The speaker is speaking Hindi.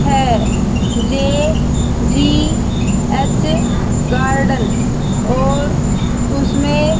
है जे जी एच गार्डन और उसमें--